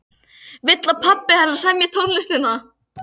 Vill að pabbi hennar semji tónlistina.